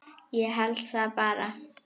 Ég held það bara.